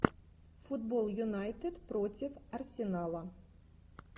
футбол юнайтед против арсенала